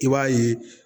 I b'a ye